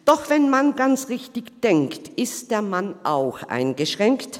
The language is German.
Doch wenn man ganz richtig denkt, ist der Mann auch eingeschränkt.